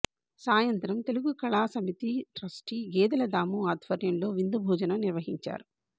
సాయంత్రం తెలుగు కళా సమితి ట్రస్టీ గేదెల దాము ఆధ్వర్యంలో విందు భోజనం నిర్వహించారు